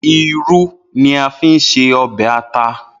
Iru ni a fi ṣe ọbẹ ata.